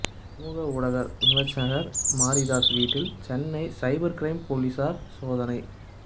சமூக ஊடக விமா்சகா் மாரிதாஸ் வீட்டில் சென்னை சைபா் கிரைம் போலீஸாா் சோதனை